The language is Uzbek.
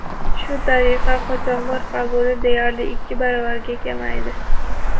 Shu tariqa, qochoqlar qabuli deyarli ikki baravarga kamaydi.